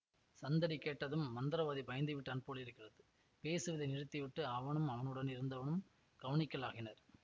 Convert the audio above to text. சந்தடி கேட்டதும் மந்திரவாதி பயந்துவிட்டான் போலிருக்கிறது பேசுவதை நிறுத்தி விட்டு அவனும் அவனுடன் இருந்தவனும் கவனிக்கலாயினர்